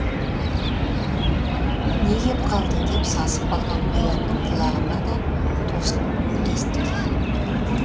не кеп қалды деп сасып қалған қоянның құлағына да тосын гуіл естілді